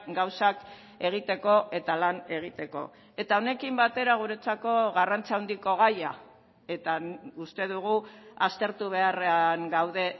gauzak egiteko eta lan egiteko eta honekin batera guretzako garrantzi handiko gaia eta uste dugu aztertu beharrean gaude